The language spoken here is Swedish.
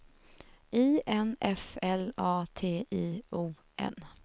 I N F L A T I O N